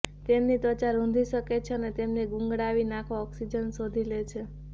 તેમની ત્વચા રૂંધી શકે છે અને તેમને ગુંગળાવી નાખવા ઓકસીજન શોધી લે છે